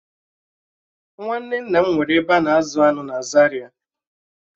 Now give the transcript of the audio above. Nwanne nna m nwere ebe a na-azụ aṅụ na Zaria